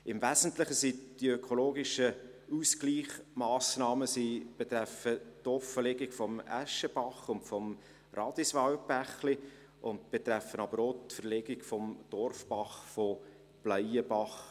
Im Wesentlichen betreffen die ökologischen Ausgleichsmassnahmen die Offenlegung des Äschebachs und des Radiswaldbächlis, aber auch die Verlegung des Dorfbachs von Bleienbach.